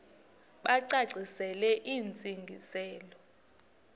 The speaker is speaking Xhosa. bacacisele intsi ngiselo